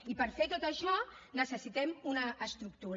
i per fer tot això necessitem una estructura